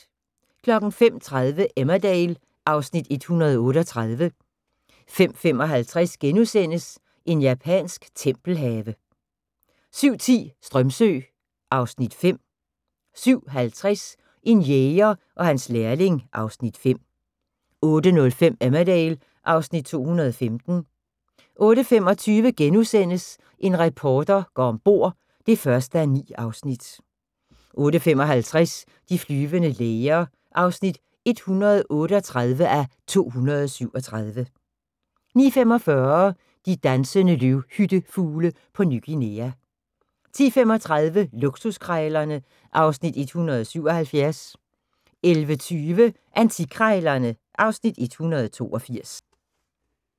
05:30: Emmerdale (Afs. 138) 05:55: En japansk tempelhave * 07:10: Strömsö (Afs. 5) 07:50: En jæger og hans lærling (Afs. 5) 08:05: Emmerdale (Afs. 215) 08:25: En reporter går om bord (1:9)* 08:55: De flyvende læger (138:237) 09:45: De dansende løvhyttefugle på Ny Guinea 10:35: Luksuskrejlerne (Afs. 177) 11:20: Antikkrejlerne (Afs. 182)